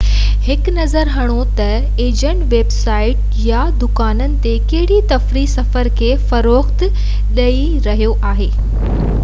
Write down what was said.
هڪ نظر هڻو تہ ايجنٽ ويب سائيٽ يا دڪان تي ڪهڙي تفريحي سفر کي فروغ ڏيئي رهيو آهي